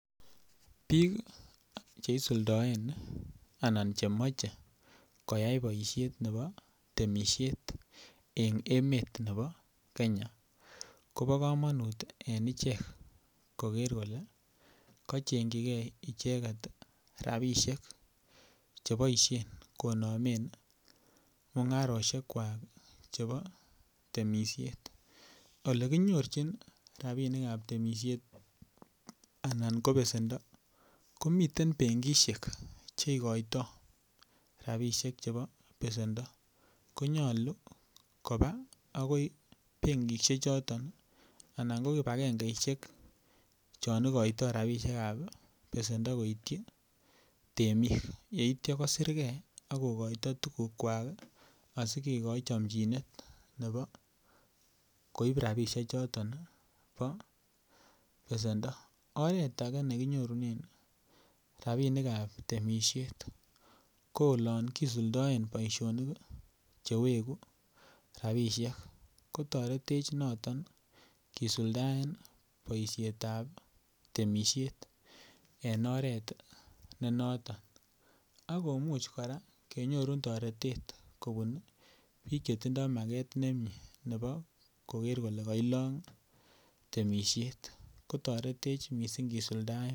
Bik Che isuldoen anan Che moche koyai boisiet nebo kabatisiet en emetab Kenya kobo kamanut en ichek koger kole kole kochengchijigei icheget rabisiek Che boisien konomen mungarosiek kwak chebo temisiet Ole konyorchin rabisiek ab temisiet anan ko besendo ko miten benkisiek Che igoitoi rabisiek chebo besendo ko nyolu koba agoi benkisiechoto anan ko ki kibagengesiek chon igoitoi rabisiek ab besendo koityi temik yeityo kosirge ak kogoito tugukwak asi kigoi chamjinet nebo koib rabisiechuto bo besendo oret age ne kinyorunen rabisiek ab temisiet ko oloon kisuldaen boisionik Che wegu rabisiek kotoretech noton kisuldaen boisiet ab temisiet en oret ne noton ak kora kimuch kenyorun toretet kobun bik Che tindoi maget nemie nebo koger kole kailong temisiet ko toretech mising kisuldaen temisiet